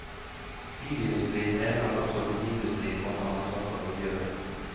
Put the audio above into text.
Bilindustrien mener at også oljeindustrien må ta ansvar for miljøet.